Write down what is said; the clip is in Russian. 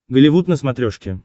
голливуд на смотрешке